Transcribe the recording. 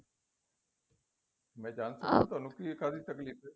ਮੈ ਜਾਣ ਤੁਹਾਨੂੰ ਕਿ ਕਾਦੀ ਤਕਲੀਫ਼ ਏ